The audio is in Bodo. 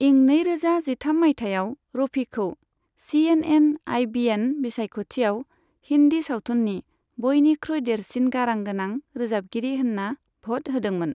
इं नैरोजा जिथाम माइथायाव रफीखौ सीएनएन आईबीएन बिसायख'थिआव हिन्दी सावथुननि बयनिख्रुइ देरसिन गारां गोनां रोजाबगिरि होनना भ'ट होदोंमोन।